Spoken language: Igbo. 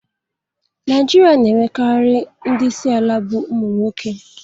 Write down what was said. Naijiria n'enwekarị ndị isi ala bụ ụmụ nwoke